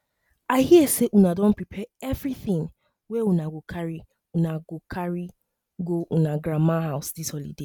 i hear say una don prepare everything wey una go carry una go carry go una grandma house dis holiday